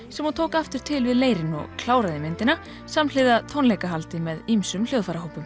sem hún tók aftur til við leirinn og kláraði myndina samhliða tónleikahaldi með ýmsum